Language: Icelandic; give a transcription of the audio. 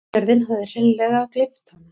Jörðin hafði hreinleg gleypt hana.